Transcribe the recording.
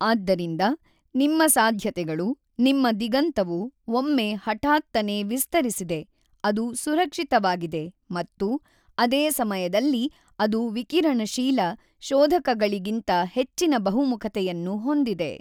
ಆದ್ದರಿಂದ ನಿಮ್ಮ ಸಾಧ್ಯತೆಗಳು ನಿಮ್ಮ ದಿಗಂತವು ಒಮ್ಮೆ ಹಠಾತ್ತನೆ ವಿಸ್ತರಿಸಿದೆ ಅದು ಸುರಕ್ಷಿತವಾಗಿದೆ ಮತ್ತು ಅದೇ ಸಮಯದಲ್ಲಿ ಅದು ವಿಕಿರಣಶೀಲ ಶೋಧಕಗಳಿಗಿಂತ ಹೆಚ್ಚಿನ ಬಹುಮುಖತೆಯನ್ನು ಹೊಂದಿದೆ.